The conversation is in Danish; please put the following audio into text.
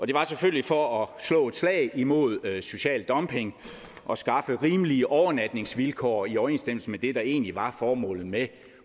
det var selvfølgelig for at slå et slag imod social dumping og skaffe rimelige overnatningsvilkår i overensstemmelse med det der egentlig var formålet med